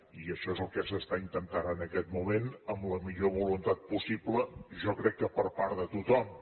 i això és el que s’està intentant en aquest moment amb la millor voluntat possible i jo crec que per part de tothom